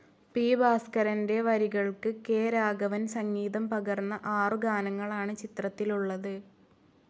P. ഭാസ്കരന്റെ വരികൾക്ക് K. രാഘവൻ സംഗീതം പകർന്ന ആറു ഗാനങ്ങളാണ് ചിത്രത്തിലുള്ളത്.